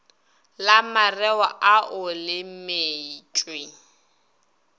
la mareo ao le metšwe